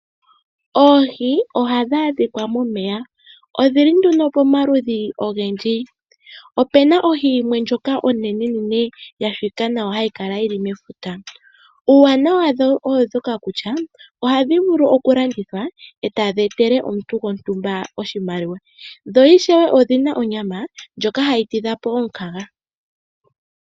Ohii ohadhadhikwa momeya, odhili nduno pomaludhi ogendji, opena ohi yimwe ndjoka onenenene yashitwa nawa hayi kala mefuta, uuwanawa wadho odhoka kutya ohadhivulu okulandithwa eta dhi etele omuntu gontumba oshimaliwa, dho ishewe odhina onyama ndyoka hayi tidhapo omukaga.